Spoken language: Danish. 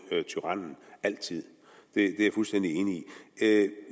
tyrannen altid det er jeg fuldstændig enig